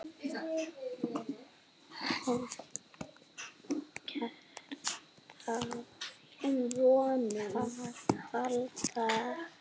EKKERT Á ÞÉR AÐ HALDA!